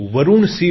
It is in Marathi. वरूण सी